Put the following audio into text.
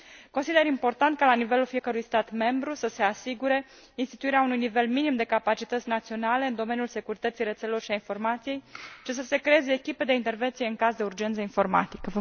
Consider important ca, la nivelul fiecărui stat membru, să se asigure instituirea unui nivel minim de capacități naționale în domeniul securității rețelelor și a informației și să se creeze echipe de intervenție în caz de urgență informatică.